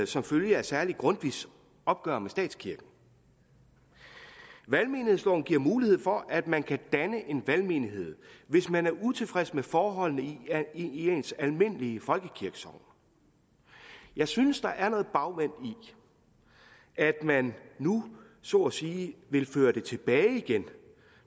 som følge af særlig grundtvigs opgør med statskirken valgmenighedsloven giver mulighed for at man kan danne en valgmenighed hvis man er utilfreds med forholdene i ens almindelige folkekirkesogn jeg synes der er noget bagvendt i at man nu så at sige vil føre det tilbage igen